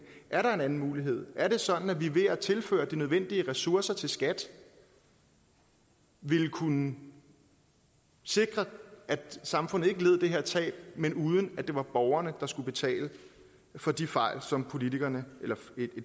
er der en anden mulighed er det sådan at vi ved at tilføre de nødvendige ressourcer til skat ville kunne sikre at samfundet ikke led det her tab uden at det var borgerne der skulle betale for de fejl som et